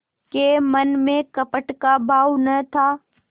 के मन में कपट का भाव न था